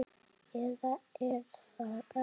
Eða er það ekki?